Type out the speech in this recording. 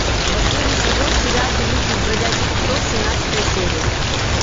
последний сезон сериал великий из бродячих псов семнадцатая серия